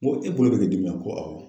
N ko e bolo bɛ k'i dimi wa ko awɔ.